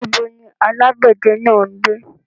Níbo ni alágbẹ̀dẹ náà ń gbé?